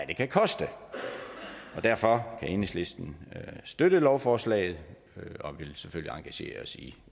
det kan koste derfor kan vi i enhedslisten støtte lovforslaget og vil selvfølgelig engagere os i